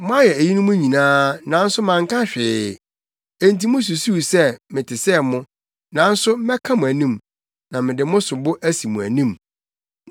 Moayɛ eyinom nyinaa; nanso manka hwee, enti mususuw sɛ mete sɛ mo. Nanso mɛka mo anim, na mede mo sobo asi mo anim.